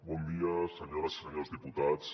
bon dia senyores i senyors diputats